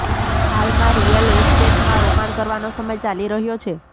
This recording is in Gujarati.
હાલમાં રિયલ એસ્ટેટમાં રોકાણ કરવાનો સમય ચાલી રહ્યો છે